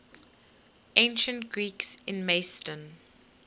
ancient greeks in macedon